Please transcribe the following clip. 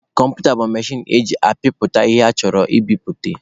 Kọmputa bụ mechin eji ataipụ ihe achọrọ ka ebupute.